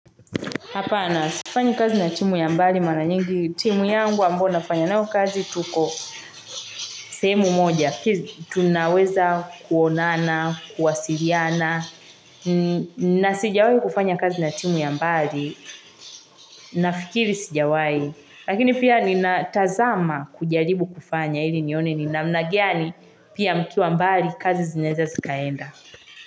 Hapana sifanyi kazi na timu ya mbali mara nyingi timu yangu ambayo nafanya nao kazi tuko sehemu moja, tunaweza kuonana, kuwasiliana, na sijawahi kufanya kazi na timu ya mbali, nafikiri sijawahi, lakini pia ninatazama kujaribu kufanya ili nione ni namna gani pia mkiwa mbali kazi zinaeza zikaenda.